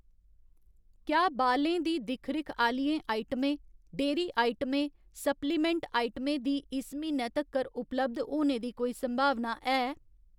क्या बालें दी दिक्ख रिक्ख आह्‌लियें आइटमें, डेयरी आइटमें, सप्लीमैंट आइटमें दी इस म्हीनै तक्कर उपलब्ध होने दी कोई संभावना है?